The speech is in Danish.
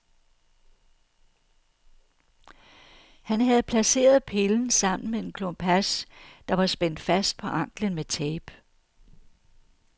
Han havde placeret pillen sammen med en klump hash, der var spændt fast på ankelen med tape.